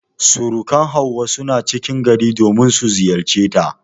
Surukan Hauwa suna cikin gari domin su ziyarceta.